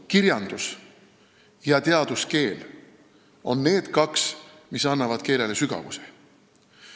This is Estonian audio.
Kirjandus- ja teaduskeel on need kaks, mis annavad keelele sügavuse.